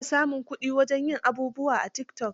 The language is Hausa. Ana samun kuɗi wajen yin abubuwa a tikitok.